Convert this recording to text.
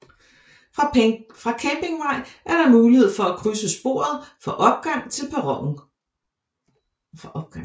Fra Campingvej er der mulighed for at krydse sporet for opgang til perronen